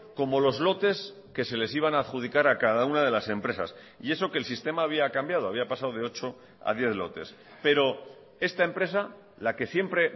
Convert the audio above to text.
como los lotes que se les iban a adjudicar a cada una de las empresas y eso que el sistema había cambiado había pasado de ocho a diez lotes pero esta empresa la que siempre